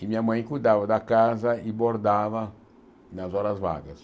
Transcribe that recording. e minha mãe cuidava da casa e bordava nas horas vagas.